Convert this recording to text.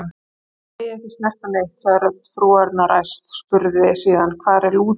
Þér megið ekki snerta neitt, sagði rödd frúarinnar æst, spurði síðan: Hvar er lúðurinn?